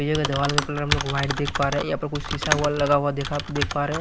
दवाल का कलर हम लोग वाइट देख पा रहे हैं यहाँ पर कुछ शीशा हुआ लगा हुआ देखा आप देख पा रहे हैं।